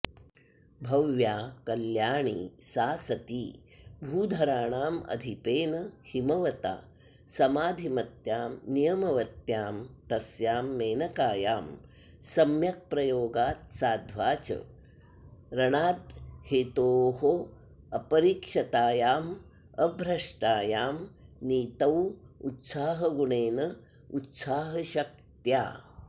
भव्या कल्याणी सा सती भूधराणामधिपेन हिमवता समाधिमत्यां नियमवत्यां तस्यां मेनकायां सम्यक्प्रयोगात्साध्वाचरणाद्धेतोरपरिक्षतायामभ्रष्टायां नीतावुत्साहगुणेनोत्साहशक्त्या